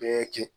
Bɛɛ kɛ